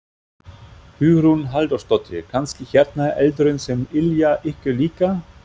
Hugrún Halldórsdóttir: Kannski hérna eldurinn sem yljar ykkur líka?